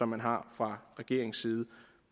man har fra regeringens tide